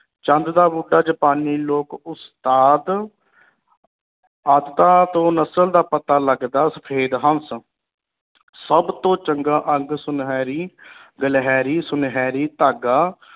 ਚੰਦ ਦਾ ਬੂਟਾ ਜਾਪਾਨੀ ਲੋਕ ਉਸਤਾਦ ਆਦਤਾਂ ਤੋਂ ਨਸਲ ਦਾ ਪਤਾ ਲਗਦਾ ਸਫੇਦ ਹੰਸ ਸਬ ਤੋਂ ਚੰਗਾ ਅੰਗ ਸੁਨਹਿਰੀ ਗਿਲਹੇਰੀ ਸੁਨਹਿਰੀ ਧਾਗਾ